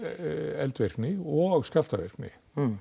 eldvirkni og skjálftavirkni